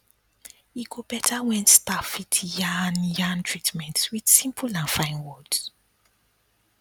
e go better when staff fit yarn yarn treatments with simple and fine words